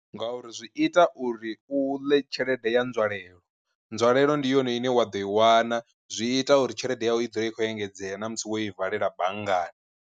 Nga uri zwi ita uri u ḽe tshelede ya nzwalelo, nzwalelo ndi yone ine wa ḓo i wana zwi ita uri tshelede yawe i dzula i khou engedzea na musi wo i valela banngani.